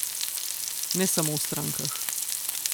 Ne samo v strankah.